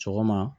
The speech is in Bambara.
Sɔgɔma